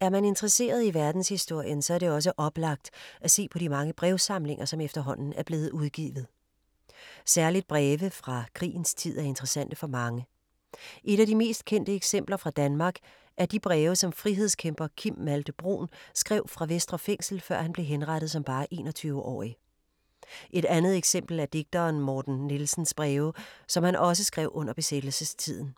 Er man interesseret i verdenshistorien, så er det også oplagt at se på de mange brevsamlinger som efterhånden er blevet udgivet. Særligt breve fra krigens tid er interessante for mange. Et af de mest kendte eksempler fra Danmark er de breve som frihedskæmper Kim Malthe-Bruun skrev fra Vestre fængsel, før han blev henrettet som bare 21-årig. Et andet eksempel er digteren Mortens Nielsens breve som han også skrev under besættelsestiden.